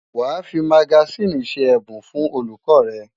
Wàá fi magasíìnì ṣe ẹ̀bùn fún olùkọ́ rẹ̀!